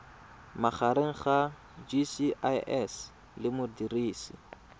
magareng ga gcis le modirisi